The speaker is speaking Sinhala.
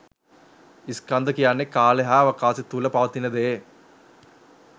ස්කන්ධ කියන්නේ කාලය හා අවකාශය තුළ පවතින දේ.